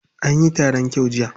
Anyi taron kyau jiya.